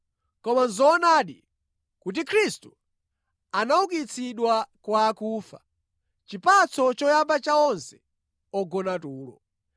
Koma nʼzoonadi kuti Khristu anaukitsidwa kwa kufa, chipatso choyamba cha onse ogona tulo.